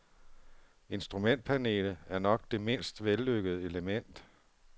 Instrumentpanelet er nok det mindst vellykkede element.